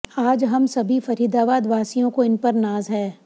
आज हम सभी फरीदाबाद वासियों को इन पर नाज है